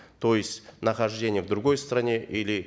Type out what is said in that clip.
то есть нахождение в другой стране или